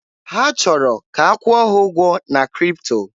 Ha chọrọ ka a kwụọ ha ụgwọ na Kripto.